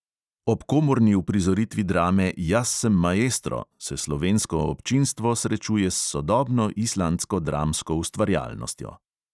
Ob komorni uprizoritvi drame "jaz sem maestro" se slovensko občinstvo srečuje s sodobno islandsko dramsko ustvarjalnostjo.